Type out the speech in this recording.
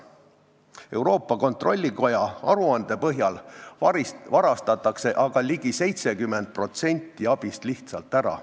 Euroopa Kontrollikoja aruande põhjal varastatakse aga ligi 70% abist lihtsalt ära.